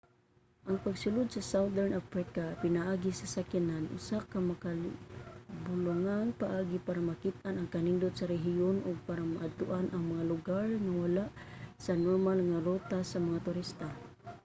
ang pagsulod sa southern africa pinaagi sa sakyanan usa ka makahibulongang paagi para makit-an ang kanindot sa rehiyon ug para maadtoan ang mga lugar nga wala sa normal nga ruta sa mga turista